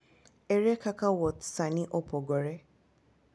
Ere kaka wuoth ​​sani opogore?